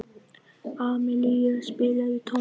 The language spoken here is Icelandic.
Amilía, spilaðu tónlist.